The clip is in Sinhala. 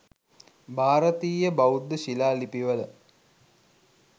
භාරතීය බෞද්ධ ශිලා ලිපිවල